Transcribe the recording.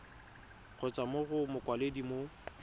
kgotsa mo go mokwaledi mo